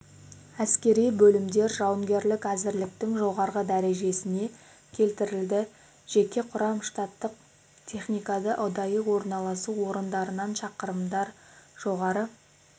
әскери бөлімдер жауынгерлік әзірліктің жоғары дәрежесіне келтірілді жеке құрам штаттық техникада ұдайы орналасу орындарынан шақырымнан жоғары